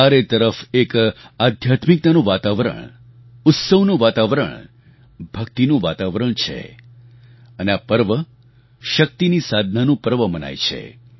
ચારે તરફ એક આધ્યાત્મિકતાનું વાતાવરણ ઉત્સવનું વાતાવરણ ભક્તિનું વાતાવરણ છે અને આ પર્વ શક્તિની સાધનાનું પર્વ મનાય છે